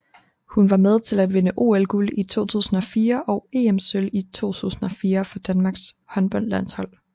Hun var med til at vinde OL guld i 2004 og EM Sølv 2004 for Danmarks håndboldlandshold